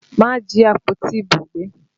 Má jí àpótí ìbò gbé!